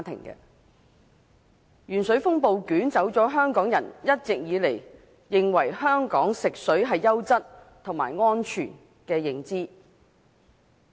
鉛水風暴捲走了香港人一直以來認為香港食水是優質和安全的認知。